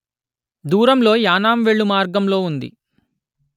దూరంలో యానాం వెళ్ళు మార్గంలో ఉంది